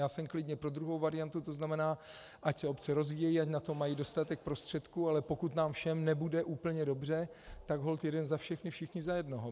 Já jsem klidně pro druhou variantu, to znamená, ať se obce rozvíjejí, ať na to mají dostatek prostředků, ale pokud nám všem nebude úplně dobře, tak holt jeden za všechny, všichni za jednoho.